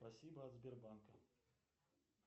спасибо от сбербанка